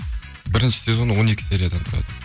бірінші сезоны он екі сериядан тұрады